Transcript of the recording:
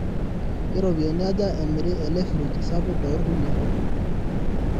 keropiyani aja emiri ele fridge sapuk too ilkulie